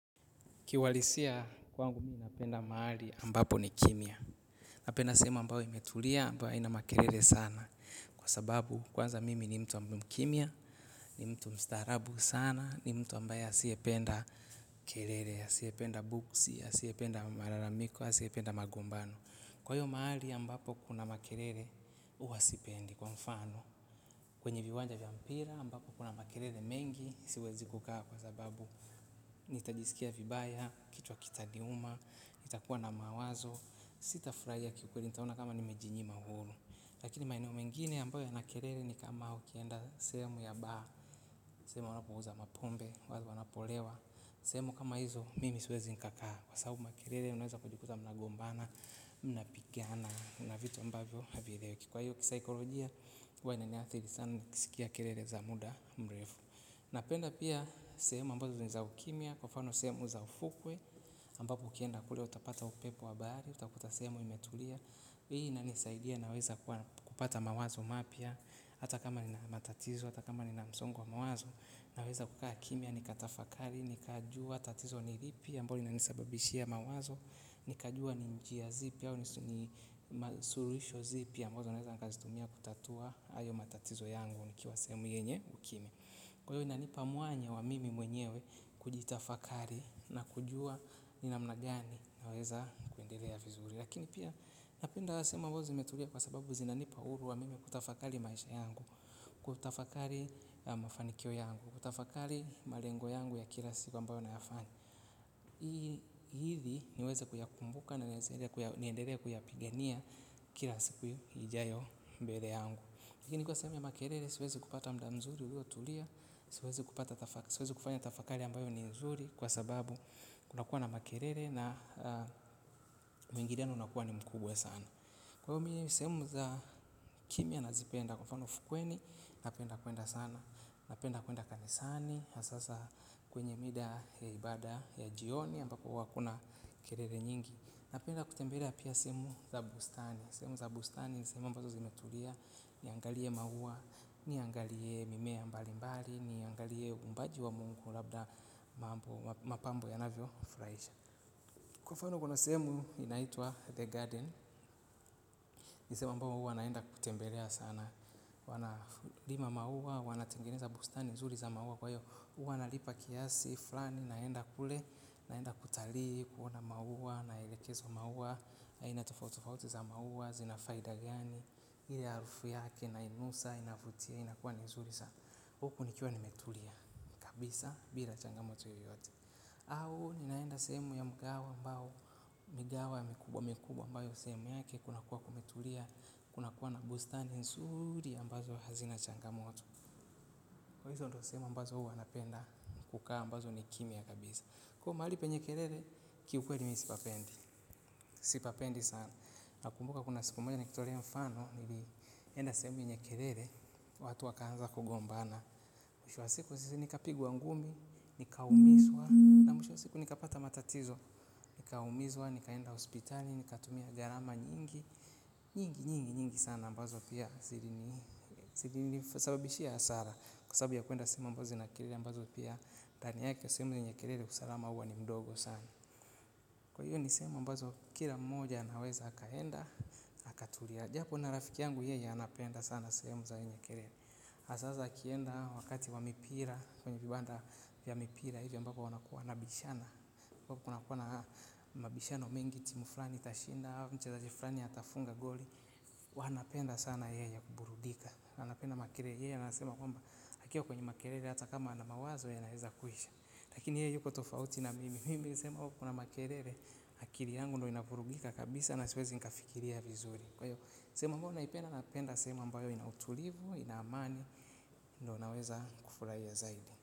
Kiuhalisia kwangu mi napenda mahali ambapo ni kimya. Napenda sehemu ambayo imetulia ambayo haina makelele sana. Kwa sababu kwanza mimi ni mtu ambaye mkimya, ni mtu mstarabu sana, ni mtu ambayo asiyependa kelele, asiyependa buksi, asiyependa malalamiko, asiyependa magombano. Kwa hiyo mahali ambapo kuna makelele, huwa sipendi kwa mfano. Kwenye viwanja vya mpira, ambapo kuna makelele mengi, siwezi kukaa kwa sababu nitajiskia vibaya, kichwa kitaniuma, nitakuwa na mawazo. Sitafurahia kikweli nitaona kama nimejinyima uhuru. Lakini maeneo mengine ambayo yana kelele ni kama ukienda sehemu ya bar. Sehemu wanapouza mapombe, wanapolewa. Sehemu kama hizo, mimi siwezi nikakaa. Kwa sababu makelele, unaweza kujikuta mnagombana, mnapigana. Na vitu ambavyo havieleweki kwa hiyo kisaikolojia, huwa inaniathiri sana nikiskia kelele za muda mrefu. Napenda pia sehemu ambazo ni za ukimya kwa mfano sehemu za ufukwe, ambapo ukienda kule utapata upepo wa bahari utakuta sehemu imetulia. Hii inanisaidia naweza kupata mawazo mapya, hata kama nina matatizo, hata kama nina msongo wa mawazo, naweza kukaa kimya nikatafakari, nikajua, tatizo ni lipi ambalo linanisababishia mawazo, nikajua ni njia zipi au ni suluhisho zipi ambazo naweza nikazitumia kutatua hayo matatizo yangu nikiwa sehemu yenye ukimya. Kwa hiyo inanipa mwanya wa mimi mwenyewe kujitafakari na kujua ni namna gani naweza kuendelea vizuri. Lakini pia napenda sehemu ambazo zimetulia kwa sababu zinanipa uhuru wa mimi kutafakari maisha yangu. Kutafakari mafanikio yangu, kutafakari malengo yangu ya kila siku ambayo nayafanya. Hii ili niweze kuyakumbuka na niendelee kuyapigania kila siku ijayo mbele yangu. Lakini nilikuwa niseme makelele siwezi kupata muda mzuri uliotulia. Siwezi kufanya tafakari ambayo ni nzuri kwa sababu kunakuwa na makelele na mwingiliano unakuwa ni mkubwa sana. Kwa hiyo mi sehemu za kimya nazipenda kwa mfano fukweni napenda kuenda sana. Napenda kuenda kanisani, sasa kwenye mida ya ibada ya jioni ambapo huwa hakuna kelele nyingi. Napenda kutembelea pia sehemu za bustani. Sehemu za bustani ni sehemu ambazo zimetulia, niangalie maua, niangalie mimea mbalimbali, niangalie uumbaji wa mungu labda mapambo yanavyofurahisha. Kwa mfano kuna sehemu inaitwa the garden, ni sehemu ambayo huwa naenda kutembelea sana. Wanalima maua, wanatengeneza bustani nzuri za maua kwa hiyo huwa nalipa kiasi, fulani, naenda kule naenda kutalii, kuona maua naelekezwa maua aina tofautitofauti za maua zina faida gani, ile harufu yake nainusa, inavutia, inakuwa ni nzuri sana, huku nikuwa nimetulia kabisa, bila changamoto yoyote au, ninaenda sehemu ya mkahawa ambao, migahawa mikubwa mikubwa ambayo sehemu yake, kunakuwa kumetulia, kunakuwa na bustani nzuri ambazo hazina changamoto. Kwa hizo ndo sehemu ambazo huwa napenda kukaa ambazo ni kimya kabisa. Kwa hiyo mahali penye kelele, kiukweli mi sipapendi. Sipapendi sana. Nakumbuka kuna siku moja nikitolea mfano, nilienda sehemu yenye kelele, watu wakaanza kugombana. Mwisho wa siku si nikapigwa ngumi, nikaumizwa, na mwisho wa siku nikapata matatizo, nikaumizwa, nikaenda hospitali, nikatumia gharama nyingi, nyingi, nyingi, nyingi sana ambazo pia. Zilinisababishia hasara. Kwa sababu ya kuenda sehemu ambaso zina kelele ambazo pia ndani yake sehemu zenye kelele usalama huwa ni mdogo sana. Kwa hiyo ni sehemu ambazo kila mmoja anaweza akaenda akatulia. Japo na rafiki yangu yeye anapenda sana sehemu zenye kilele. Hasa akienda wakati wa mipira. Kwenye kibanda ya mipira. Hiyo ambapo wanakuwa wanabishana. Huwa kunakuwa na mabishano mengi. Timu fulani itashinda. Mchezaji fulani atafunga goli. Wanapenda sana yeye kuburudika. Anapenda makelele ye anasema kwamba akiwa kwenye makelele hata kama ana mawazo yanaweza kuisha. Lakini ye yuko tofauti na mimi. Mimi sehemu ambapo kuna makelele akili yangu ndio inavurugika kabisa. Na siwezi nikafikiria vizuri. Kwa hiyo sehemu ambayo naipenda napenda sehemu ambayo ina utulivu, ina amani. Ndo naweza kufurahia zaidi.